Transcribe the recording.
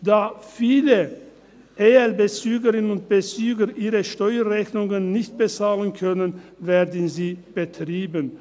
Da viele ELBezügerinnen und -bezüger ihre Steuerrechnungen nicht bezahlen können, werden sie betrieben.